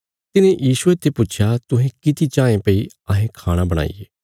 तिन्हे यीशुये ते पुच्छया तुहें किति चाँये भई अहें खाणा बणाईये